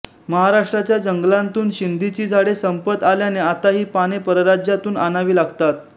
महाराष्ट्राच्या जंगलांतून शिंदीची झाडे संपत आल्याने आता ही पाने परराज्यांतून आणावी लागतात